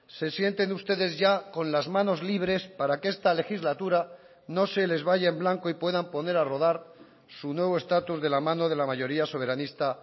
se sienten ustedes ya con las manos libres para que esta legislatura no se les vaya en blanco y puedan poner a rodar su nuevo estatus de la mano de la mayoría soberanista